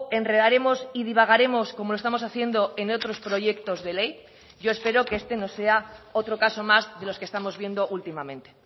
enredaremos y divagaremos como lo estamos haciendo en otros proyectos de ley yo espero que este no sea otro caso más de los que estamos viendo últimamente